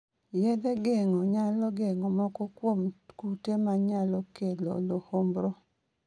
Yadhe geng'o nyalo geng'o moko kuom kute ma nyalo kelo luhumbru